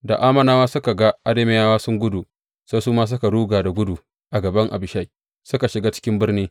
Da Ammonawa suka ga Arameyawa suna gudu, sai su ma suka ruga da gudu a gaban Abishai, suka shiga cikin birni.